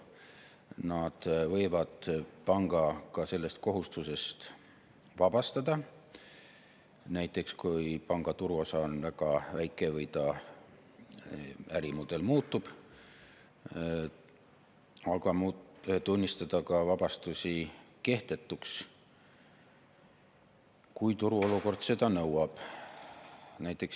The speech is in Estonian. Inspektsioon võib panga sellest kohustusest ka vabastada, näiteks kui panga turuosa on väga väike või ta ärimudel muutub, aga inspektsioon võib tunnistada vabastusi ka kehtetuks, kui turuolukord seda nõuab.